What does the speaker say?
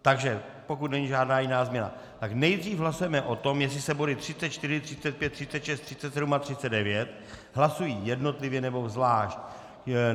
Takže pokud není žádná jiná změna, tak nejdříve hlasujeme o tom, jestli se body 34, 35, 36, 37 a 39 hlasují jednotlivě, nebo zvlášť.